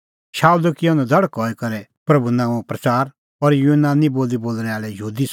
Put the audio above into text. शाऊलै किअ नधड़क हई करै किअ प्रभूए नांओं प्रच़ार और यूनानी बोली बोल़णैं आल़ै यहूदी संघै रहअ हठल़दअ लागी पर तिन्नें ती हर बगत एही सोठ कि शाऊल पाणअ त किहअ करै मारी